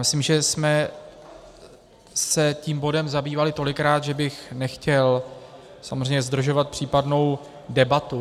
Myslím, že jsme se tím bodem zabývali tolikrát, že bych nechtěl samozřejmě zdržovat případnou debatu.